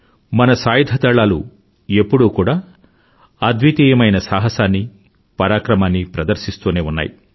మన సాయుధదళాలు ఎప్పుడూ కూడా అద్వితీయమైన సాహసాన్ని పరాక్రమాన్ని ప్రదర్సిస్తూనే ఉన్నాయి